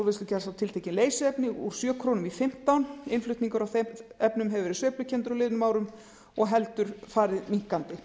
úrvinnslugjalds á tiltekin leysiefni úr sjö komma núll núll krónur kílógrömm innflutningur á þeim efnum hefur verið sveiflukenndur á liðnum árum og heldur farið minnkandi